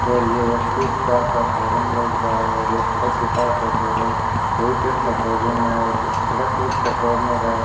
और यह एक स्विफ्ट कार शोरूम लग रहा है और यह सड़क के पास है शोरूम बहोत ही अच्छा शोरूम है और सड़क सुरक्षा कॉर्नर है।